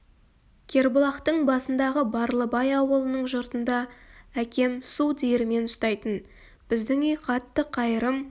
кербұлақтың басындағы барлыбай ауылының жұртында әкем су диірмен ұстайтын біздің үй қатты қайырым